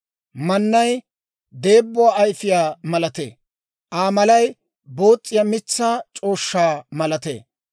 Mannay deebbuwaa ayfiyaa malatee; Aa malay boos's'iyaa mitsaa c'ooshshaa malatee.